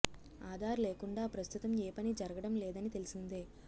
ఆధార్ లేకుండా ప్రస్తుతం ఏ పని జరగడం లేదని తెలిసిందే